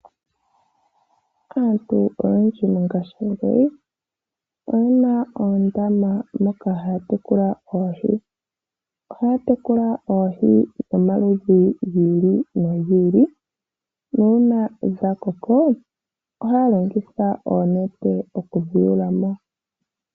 Aantu oyendji mongaashi ngeyi eyena oondama moka haatekula oohi dhayolokathana moondama. Oohi ngele dhakoko aantu ohaalongitha oonete opo yedhiyulemo yoyekedhilyepo nande yekedhilandithepo, opo yiimonene iiyemo.